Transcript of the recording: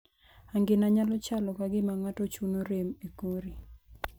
Angina nyalo chalo ka gima ng'ato chuno rem e kori.